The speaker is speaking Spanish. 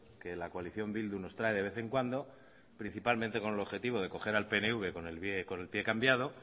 que la coalición bildu nos trae de vez en cuando principalmente con el objetivo de coger al pnv con el día y con el pie cambiado